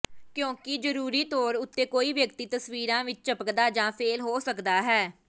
ਕਿਉਂਕਿ ਜ਼ਰੂਰੀ ਤੌਰ ਉੱਤੇ ਕੋਈ ਵਿਅਕਤੀ ਤਸਵੀਰਾਂ ਵਿਚ ਝਪਕਦਾ ਜਾਂ ਫੇਲ੍ਹ ਹੋ ਸਕਦਾ ਹੈ